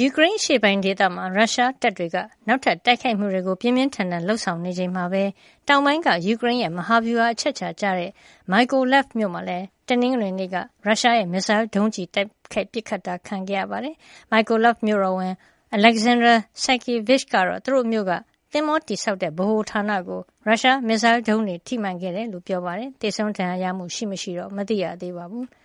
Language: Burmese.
ယူကရိန်းအရှေ့ပိုင်းဒေသမှာ ရုရှားတပ်တွေက နောက်ထပ်တိုက်ခိုက်မှုတွေ ပြင်းပြင်းထန်ထန်လုပ်ဆောင်နေချိန်မှာပဲ တောင်ပိုင်းက ယူကရိန်းရဲ့ မဟာဗျူဟာအချက်ချာကျတဲ့ Mykolaiv မြို့မှာလည်း တနင်္ဂနွေနေ့က ရုရှားရဲ့ မစ်စိုင်းဒုံးကျည်တွေ ပစ်ခတ်တာခံခဲ့ရပါတယ်။ Mykolaiv မြို့တော်ဝန် Oleksandr Senkevych ကတော့ သူတို့မြို့က သင်္ဘောတည်ဆောက်တဲ့ ဗဟိုဌာနကို ရုရှားမစ်စိုင်းဒုံးကျည်တွေ ထိမှန်ခဲ့တယ်လို့ ပြောပါတယ်။ သေဆုံးဒဏ်ရာရမှု ရှိမရှိတော့ မသိရသေးပါဘူး။